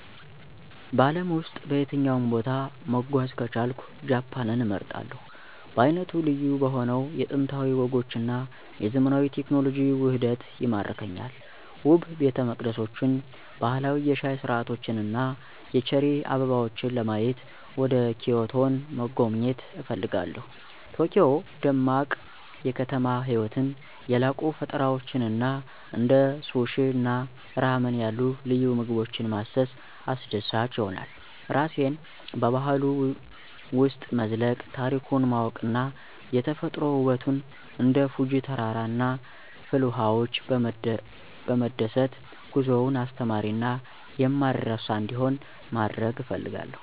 በአለም ውስጥ በየትኛውም ቦታ መጓዝ ከቻልኩ ጃፓንን እመርጣለሁ. በዓይነቱ ልዩ በሆነው የጥንታዊ ወጎች እና የዘመናዊ ቴክኖሎጂ ውህደቱ ይማርከኛል። ውብ ቤተመቅደሶችን፣ ባህላዊ የሻይ ሥርዓቶችን እና የቼሪ አበቦችን ለማየት ወደ ኪዮቶን መጎብኘት እፈልጋለሁ። የቶኪዮ ደማቅ የከተማ ህይወትን፣ የላቁ ፈጠራዎችን እና እንደ ሱሺ እና ራመን ያሉ ልዩ ምግቦችን ማሰስ አስደሳች ይሆናል። ራሴን በባህሉ ውስጥ መዝለቅ፣ ታሪኩን ማወቅ እና የተፈጥሮ ውበቱን እንደ ፉጂ ተራራ እና ፍልውሃዎች በመደሰት ጉዞውን አስተማሪ እና የማይረሳ እንዲሆን ማድረግ እፈልጋለሁ።